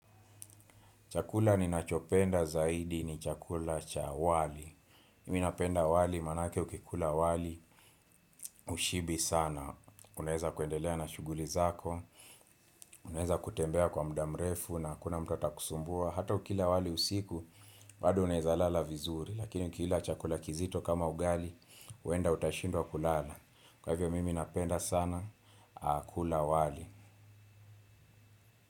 Chakula ninachopenda zaidi ni chakula cha wali. Mimi napenda wali maanake ukikula wali hushibi sana. Unaweza kuendelea na shughuli zako, unaeza kutembea kwa muda mrefu na hakuna mtu atakusumbua. Hata ukila wali usiku, bado unaweza lala vizuri. Lakini ukila chakula kizito kama ugali, huenda utashindwa kulala. Kwa hivyo mimi napenda sana kula wali.